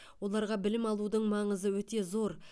оларға білім алудың маңызы өте зор